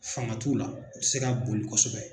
Fanga t'u la, u tɛ se ka boli kosɛbɛ.